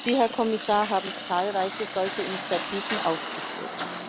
Sie, Herr Kommissar, haben zahlreiche solche Initiativen aufgeführt.